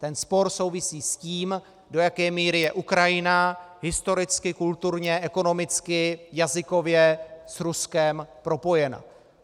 Ten spor souvisí s tím, do jaké míry je Ukrajina historicky, kulturně, ekonomicky, jazykově s Ruskem propojena.